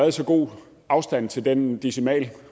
i så god afstand til den decimal